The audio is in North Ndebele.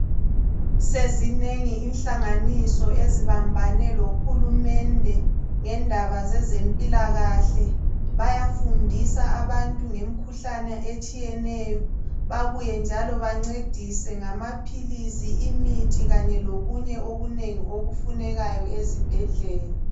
Sezinengi inhlanganiso ezibambane lohulumende ngendaba zezempilakahle. Bayafundisa abantu ngemikhuhlane etshiyeneyo. Babuye njalo bancedise ngamaphilisi, imithi kanye lokunye okunengi okufunekayo ezibhedlela.